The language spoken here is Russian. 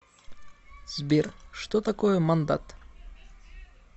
сбер что такое мандат